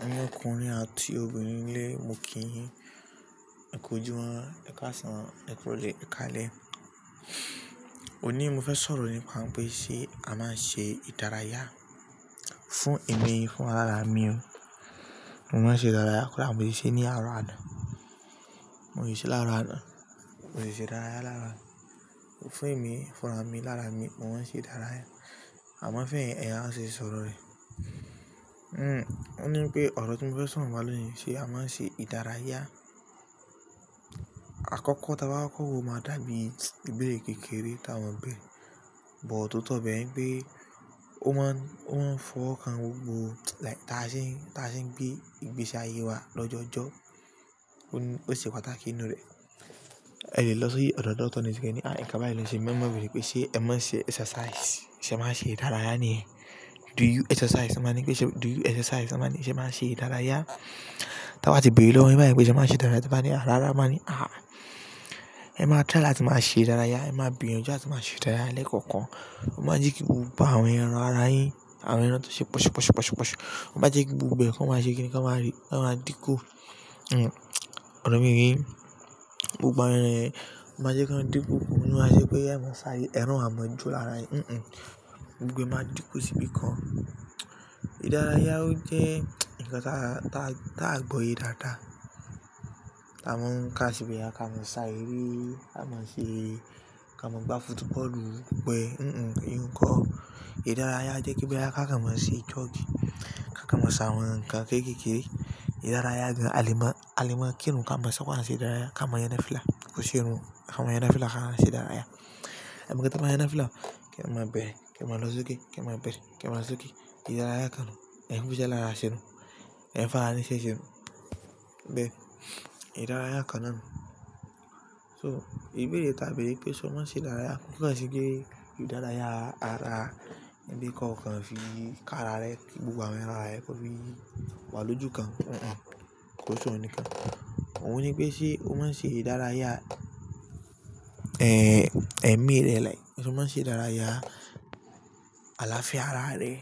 Àwọn ọkùnrin àti obìnrin lé mókìyín, ẹkọ̀júmọ́n, ẹkàsàn, ẹkọ̀ròlẹ́, ẹ̀kalẹ̀. O ní mo fẹ́ sọ̀rọ̀ nípa pé ṣe a máa ń ṣe ìdárayá fún èmi, fún ara mi. Mo máa ń ṣe ìdárayá. Kọ́ da mo ṣe ní àárọ̀ àná. Mo si ṣe láàárọ̀ àná. Mo ṣe ìdárayá lára. Fún èmi, fún ara mi, lára mi, mo máa ń ṣe ìdárayá. A máa fẹ́ èèyàn ṣe sọ̀rọ̀ rẹ̀. Ó ní pé ọ̀rọ̀ tí mo fẹ́ sọro nipa lò ní, ṣe a máa ń ṣe ìdárayá? Àkọ́kọ́ tí a bá kọ́ wo máa dàbí ìgbẹ́ kékeré táwọn bẹ̀. But tóto bẹ, pé ó máa ń, ó máa ń fọ́ ọkàn gbogbo like tá a ṣe ń, tá a ṣe ń gbé, ìgbésí ayé wa lọ́jọ́ọ̀jọ́. Ó ní oṣe pataki i nu rẹ̀. Ẹ̀ o ló ṣi ọ̀dọ̀ dọ̀ctọ̀r ni osẹ ni, à nnkan ba yi ló n ṣe mi mọ́ mo maa beere pe ṣe ẹ máa ń ṣe exercise, ṣe máa ń ṣe ìdárayá ni? Do you exercise? Won maa ni pé ṣe do you exercise? Won maa ni ṣe máa ń ṣe ìdárayá? Tí won bá ti bẹ̀ere lọwo yin bá yẹn wípé ṣe máa ń ṣe ìdárayá. Te bá ní ràrá won maa ni ah, ẹ máa try latí máa ṣe ìdárayá. Ẹ máa gbiyanju àti máa ṣe ìdárayá lẹ́ẹ̀kọ̀kan. Ó máa jẹ́ kí gbogbo àwọn ẹran ara yín, àwọn ẹran tó ṣe posu posu posu posu. Ó máa jẹ́ kí gbogbo ẹ kon máa ṣe kíni kon máa din ku. Hmm, ọ̀rọ̀ mi o ye yín. Gbogbo àwọn ẹran yen o máa jẹ́ kí wọn dì kun. Ko ni ma je pé ẹ máa sáré ẹran o maa control ára yen. Hmm hmm. Gbogbo ẹ máa dì kun sí ibìkan. Ìdárayá ó jẹ́ nǹkan táa, táa, táa gbọ́ye dáadáa. A máa ń kà boya ká máa sáré. Ka ma se e, ka ma gba footballu, gbogbo e hmm hmm eyin un ko ìdárayá jẹ́ kí boyá ká kon máa ṣe jogi, ká kon máa ṣàwọn nǹkan kékeké. Ìdárayá gan-an àle ma, àle maa kirun ká máa ṣu mo a ṣe ìdárayá ká máa yan nàfìlà. Ko se irun, ká máa yan nàfìlà ká máa ṣe ìdárayá. Ka máa yan nafìlà. Kí ẹ máa bẹ̀rẹ̀, kí ẹ máa lọ sókè, kí ẹ máa bẹ̀rẹ̀, kí ẹ máa sókè. Ìdárayá kan. Ẹ̀yi kò jẹ́ lára ṣẹ́rù. Ẹ̀n fara ní iṣẹ́ se o. Bẹ́ẹ̀. Ìdárayá kanà. So ìbéèrè ta bẹ̀rẹ̀ pé ṣọ máa ń ṣe ìdárayá kò kon se pẹ́ ìdárayá ara wipe ko kan fi ká ara rẹ, fi gbogbo àwọn ẹran ara rẹ kó fi wá lójú kan. Hmm hmm. Ko soun nikan. Óùn ní pé ṣe ó máa ń ṣe ìdárayá, ṣọ máa ń ṣe ìdárayá aláfia ara rẹ?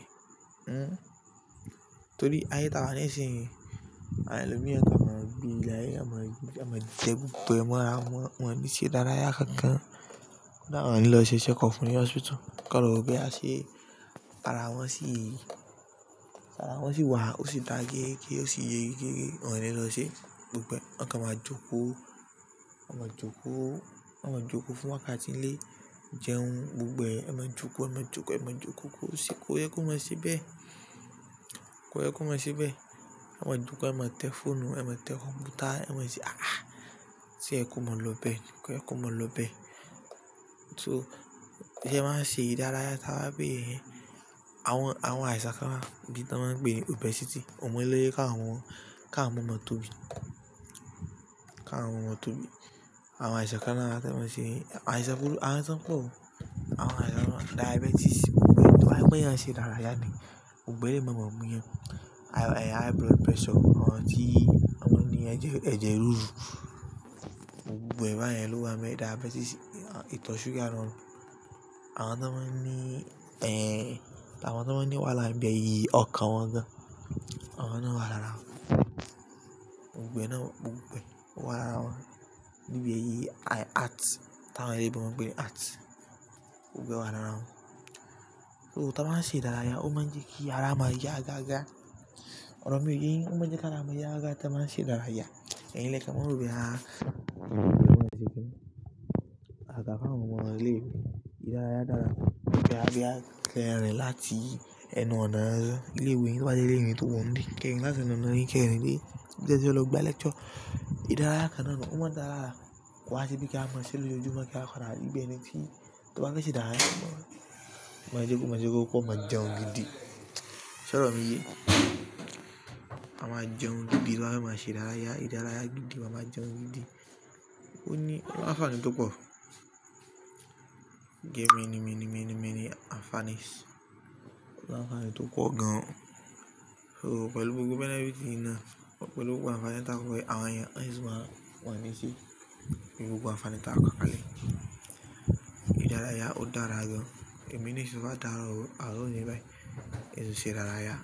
Hmm. Torí ayé tawa ní ìsin yii. Àwon elomii won kan máa gbé ilé aye won maa won maa jẹ gbogbo mo ra won. Wọn ní ṣe ìdárayá kán kán. Won ni awon a lo ṣe check up ní hospital. Kọ́n lọ wo boya ṣe ara wọn sì, ara wọn sì wà. Ó sì dà gérégé, ó sì le géregé. Wọn ní lọ ṣe gbogbo won kan máa jókòó. Won máa jókòó. Won maa jokoo fun wakati nile, jeun gbogbo won maa joko, won maa joko, won maa joko, ko ye ko maa se be. Kó ẹ kú máa ṣíbẹ̀. Won máa jókòó, won máa tẹ fóònù, won máa tẹ kọ̀m̀pútà, won máa ṣe ah ah. Tí o yẹ ko máa lọ bẹ́ẹ̀. Ko yẹ ko máa lọ bẹ́ẹ̀. So tí ẹ ba wa ń ṣe ìdárayá tá bá bẹ̀rẹ̀ iyẹn, àwọn, àwọn àìsàn kan wà bí to maa ń pè ní obesity. Awon ilére ka mu, ká mu maa tóbi. Ká wọn mọ̀ tóbi. Awon aisan kan lara ti ko n se, aisan buru, aisan po, awon aisan kan diabetes, aimoye ti eeyan sin lara. Gbogbo ele yii ma maa mu yan High blood pressure, àwọn tí àwọn ni eje ẹ̀jẹ̀ ríru. Gbogbo ba yen lo wa nbe, diabetes, ito suga. Awon to maa ni awon to maa ni wahala ibeyii okan won gan. Àwọn náà wà lára wọn. Gbogbo ẹ náà, gbogbo ẹ owà lára wọn. Bí ẹ yìí heart táa wọn oloyinbo pé ni heart. Gbogbo ẹ wà lára wọn. So tá ba ń ṣe ìdárayá ó máa ń jẹ́ kí ara máa ya gaga. Ọ̀rọ̀ mi o ye yín, ó máa ń jẹ́ kí ara mi ya gaga mo máa ń ṣe ìdárayá. Ẹ̀yin lẹ́ kan maa ro, á, àgàgà fun àwọn omọ̀ ile iwe. Ìdárayá dára. Tí a bá fe n rìn láti ẹnù ọ̀nà, ilé iwẹ̀ to ba je ilé ìwe tò wọ́n nu. Kin n maa tun lo. Ẹ jẹ́ lọ gba lecture. Ìdárayá kan náà nu ó máa dà lará. Ko wa se pe ke wa maa se lojoojumo sa o, won wa pada ri bi eniti, to ba fe se idaraya. Ma jókòó, ma jókòó kó máa jẹun gidi. Ṣọ̀rọ̀ mi yé. A máa jẹun gidi bá ba ṣe ìdárayá. Ìdárayá gidi, a máa jẹun gidi. Ó ní àǹfààní tó pọ̀. Get many, many, many, many àǹfàànís. O ni anfaani to po gan. So pẹ̀lú gbogbo benefit yii naa pẹ̀lú gbogbo àǹfààní táa kó yii. Àwọn ẹeyan won si maa, won o ni se e. Pelu gbogbo àǹfààní táa kó kalẹ̀. Ìdárayá ó dára gan-an. Ẹ̀mi ní ṣọ bá dàrú, a ó ní bá yẹn ṣe ìdárayá.